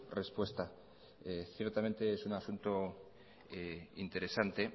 respuesta ciertamente es un asunto interesante